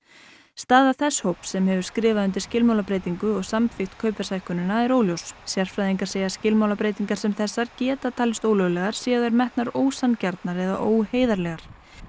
staða þess hóps sem hefur skrifað undir skilmálabreytingu og samþykkt kaupverðshækkunina er óljós sérfræðingar segja skilmálabreytingar sem þessar geta talist ólöglegar séu þær metnar ósanngjarnar eða óheiðarlegar